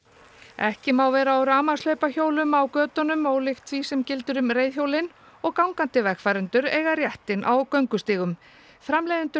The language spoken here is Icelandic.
ekki má vera á á götunum ólíkt því sem gildir um reiðhjólin og gangandi vegfarendur eiga réttinn á göngustígum framleiðendur